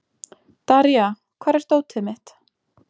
Daría, hvar er dótið mitt?